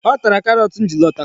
Ọ tara karọt ji lọta.